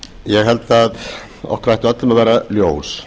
ég held að okkur ætti öllum að vera ljós